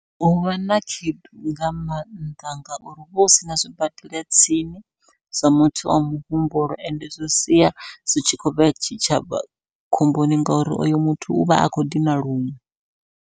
Huvha na khaedu nga maanḓa, ngauri huvha hu sina zwibadela tsini zwa muthu wa muhumbulo, ende zwi sia zwi tshi khou vhea tshitshavha khomboni ngauri oyo muthu uvha a khou dina luṅwe.